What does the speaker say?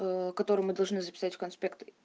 которые мы должны записать в конспект